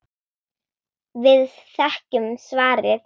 Við þekkjum svarið.